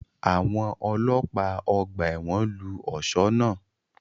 Àwọn ọlọ́pàá ọgbà ẹ̀wọ̀n lu ọ̀ṣọ́ náà